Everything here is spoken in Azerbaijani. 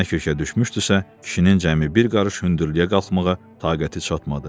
Nə kökə düşmüşdüsə, kişinin cəmi bir qarış hündürlüyə qalxmağa taqəti çatmadı.